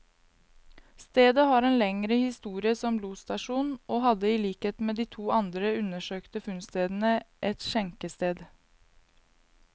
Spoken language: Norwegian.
Stedet har en lengre historie som losstasjon, og hadde i likhet med de to andre undersøkte funnstedene, et skjenkested.